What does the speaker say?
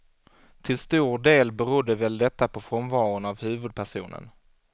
Till stor del berodde väl detta på frånvaron av huvudpersonen.